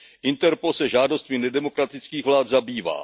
Interpol se žádostmi nedemokratických vlád zabývá.